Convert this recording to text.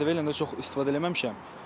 Ədəbiyyat elə də çox istifadə eləməmişəm.